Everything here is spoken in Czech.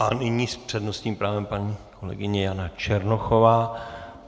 A nyní s přednostním právem paní kolegyně Jana Černochová.